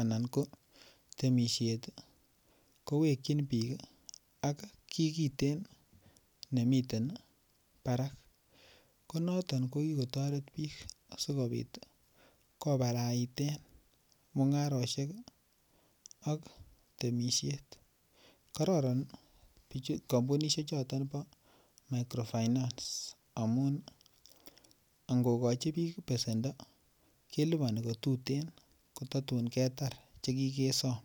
anan ko temisiet ko wekyin bik ak kii kiten nemiten barak ko noton ko ki kotoret bik asikobit kobaraiten mungarosiek ak temisiet kororon kampunisiek choton bo microfinance amun angokochi bik besendo kelipani ko tuten ko tatun ketar Che kigesom